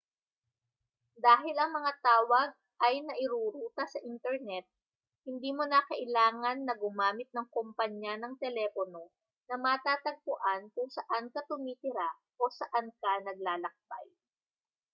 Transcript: dahil ang mga tawag ay nairuruta sa internet hindi mo na kailangan na gumamit ng kompanya ng telepono na matatagpuan kung saan ka tumitira o saan ka naglalakbay